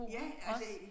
Ja kan jeg se